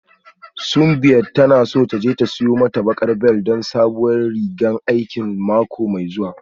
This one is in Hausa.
Simbiat tana so ta je ta siyo mata baƙar bel don sabuwar rigan aiki mako mai zuwa